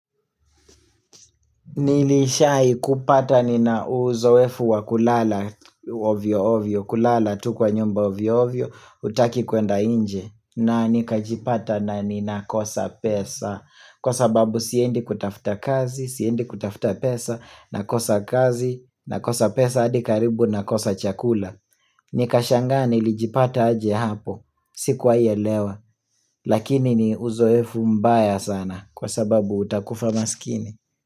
Nilishai kupata nina uzoefu wa kulala ovyo ovyo, kulala tu kwa nyumba ovyo ovyo, hutaki kuenda nje na nikajipata na nina kosa pesa, kwa sababu siendi kutafuta kazi, siendi kutafuta pesa, nakosa kazi, nakosa pesa hadi karibu nakosa chakula Nikashangaa nilijipata aje hapo, sikuwaielewa, lakini ni uzoefu mbaya sana, kwa sababu utakufa maskini.